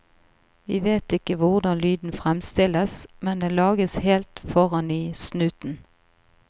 Vi vet ikke hvordan lyden fremstilles, men den lages helt foran i snuten.